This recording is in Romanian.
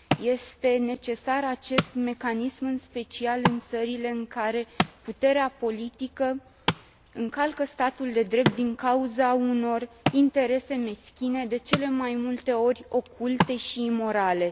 Este necesar acest mecanism, în special, în țările în care puterea politică încalcă statul de drept din cauza unor interese meschine, de cele mai multe ori oculte și imorale.